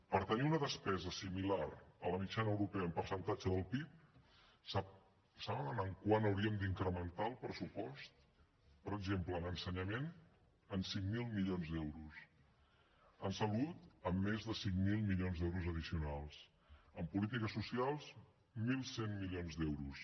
per tenir una despesa similar a la mitjana europea en percentatge del pib saben en quant hauríem d’incrementar el pressupost per exemple en ensenyament en cinc mil milions d’euros en salut en més de cinc mil milions d’euros addicionals en polítiques socials mil cent milions d’euros